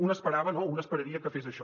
un esperava no un esperaria que fes això